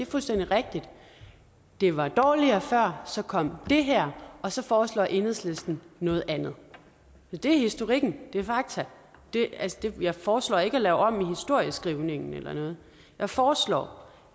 fuldstændig rigtigt at det var dårligere før så kom det her og så foreslår enhedslisten noget andet så det er historikken og det er fakta altså jeg foreslår ikke at lave om i historieskrivningen eller noget jeg foreslår